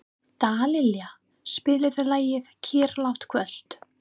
Dallilja, spilaðu lagið „Kyrrlátt kvöld“.